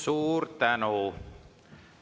Suur tänu!